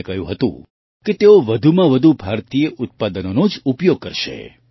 તેમણે કહ્યું હતું કે તેઓ વધુમાં વધુ ભારતીય ઉત્પાદનોનો જ ઉપયોગ કરશે